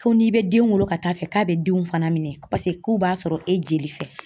Fo n'i bɛ den wolo ka taa fɛ k'a bɛ denw fana minɛ paseke k'u b'a sɔrɔ e jeli fɛ.